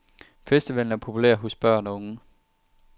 Festivalen er populær hos børn og unge.